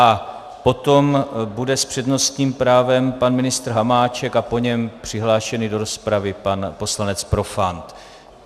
A potom bude s přednostním právem pan ministr Hamáček a po něm přihlášený do rozpravy pan poslanec Profant.